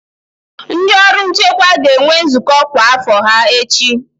Ndị ọrụ nchekwa ga-enwe nzukọ kwa afo ha echi.